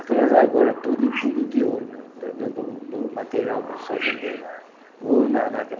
Aquelas argola, tudinho tudo de ouro mesmo, do do do do material dos fazendeiros.